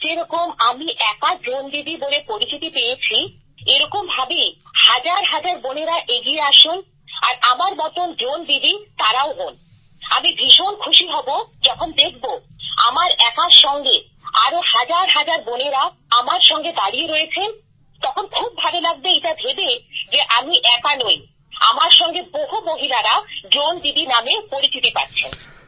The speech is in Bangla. আজ যেরকম আমি একা ড্রোন দিদি বলে পরিচিতি পেয়েছি এরকম ভাবেই হাজার হাজার বোনেরা এগিয়ে আসুন আর আমার মতন ড্রোন দিদি তারাও হন আর আমি ভীষণ খুশি হব যখন দেখবো আমার একার সঙ্গে আরো হাজার হাজার বোনেরা আমার সঙ্গে দাঁড়িয়ে রয়েছেন তখন খুব ভালো লাগবে এটা ভেবে যে আমি একা নই আমার সঙ্গে বহু মহিলারা ড্রোন দিদি নামে পরিচিতি পাচ্ছেন